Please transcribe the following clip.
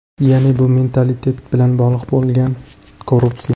Ya’ni bu mentalitet bilan bog‘liq bo‘lgan korrupsiya.